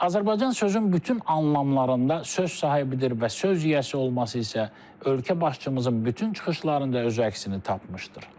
Azərbaycan sözün bütün anlamlarında söz sahibidir və söz yiyəsi olması isə ölkə başçımızın bütün çıxışlarında öz əksini tapmışdır.